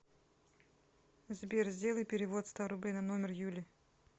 сбер сделай перевод ста рублей на номер юли